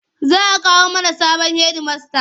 Za a kawo mana sabon hedimasta.